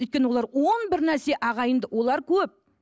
өйткені олар он бір нәрсе ағайынды олар көп